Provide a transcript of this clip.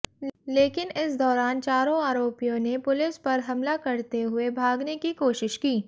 लेकिन इस दौरान चारों आरोपियो ने पुलिस पर हमला करते हुए भागने की कोशिश की